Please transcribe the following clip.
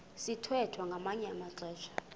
sithwethwa ngamanye amaxesha